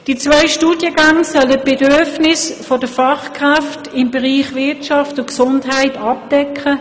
Die beiden Studiengänge sollen den Bedarf an Fachkräften im Bereich Wirtschaft und Gesundheit abdecken.